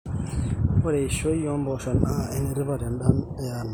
Ore eishoi ombosho naa enetipat tendaa yeanake.